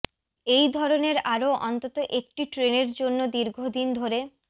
এই ধরনের আরও অন্তত একটি ট্রেনের জন্য দীর্ঘদিন ধরে